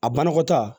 A banakɔta